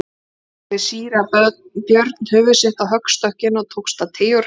Þá lagði síra Björn höfuð sitt á höggstokkinn og tókst að teygja úr hálsinum.